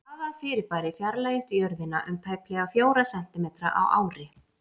Hvaða fyrirbæri fjarlægist Jörðina um tæplega fjóra sentímetra á ári?